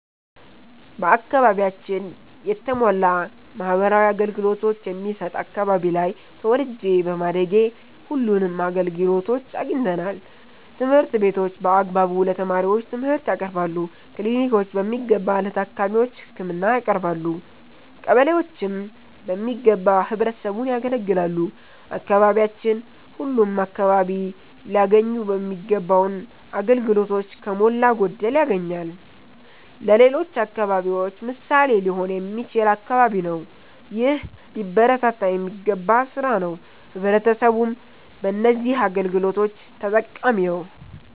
በአከባቢያችን የተሟላ ማህበራዊ አገልገሎቶች የሚሠጥ አከባቢ ላይ ተወልጄ በማደጌ ሁለንም አገልግሎቶች አግኝተናል። ትምህርት ቤቶች በአግባቡ ለተማሪዎቹ ትምርህት ያቀርባሉ። ክሊኒኮች በሚገባ ለታካሚዎች ህክምና ያቀረባሉ። ቀበሌዎችም በሚገባ ህብረተሰቡን ያገለግላሉ። አካባቢያችን ሁለም አከባቢ ላያገኙ ሚገባውን አገልግሎቶች ከሞላ ጎደል ያገኛል። ለሌሎች አከባቢዎች ምሣሌ ሊሆን የሚችል አከባቢ ነው። ይህ ሊበረታታ የሚገባ ስራ ነው። ህብረተሰቡም በነዚህ አገልግሎቶች ተጠቃሚ ነዉ።